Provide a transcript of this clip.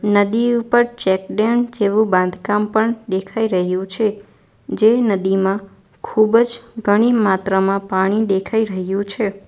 નદી ઉપર check dam જેવું બાંધકામ પણ દેખાય રહ્યું છે જે નદીમાં ખૂબજ ઘણી માત્રામાં પાણી દેખાય રહ્યું છે.